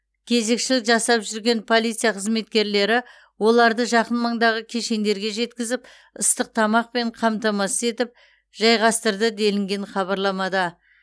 кезекшілік жасап жүрген полиция қызметкерлері оларды жақын маңдағы кешендерге жеткізіп ыстық тамақпен қамтамасыз етіп жайғастырды делінген хабарламада